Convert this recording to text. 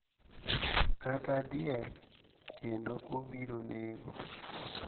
kata diel kendo obiro nego.